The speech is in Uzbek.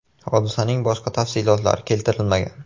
Hodisaning boshqa tafsilotlari keltirilmagan.